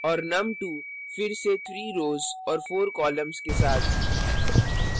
और num2 फिर से rows और columns के साथ